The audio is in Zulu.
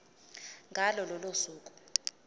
ngalo lolo suku